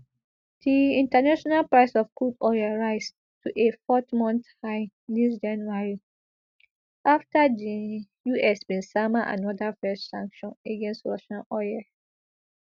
di international price of crude oil rise to a fourmonth high dis january afta di us bin sama anoda fresh sanction against russian oil